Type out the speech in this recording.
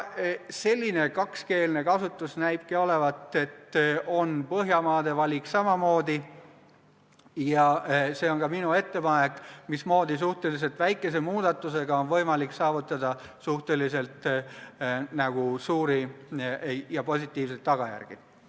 Selline kakskeelne kasutus on ka Põhjamaade valik ja ühtlasi minu ettepanek, mismoodi suhteliselt väikese muudatusega on võimalik saavutada suhteliselt suuri ja positiivseid tulemusi.